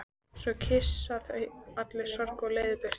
Svo kyssa þau allar sorgir og leiðindi burtu.